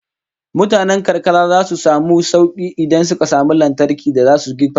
Mutanen karkara zasu samu sauki idan suka samu lantarki da zasu girka abinci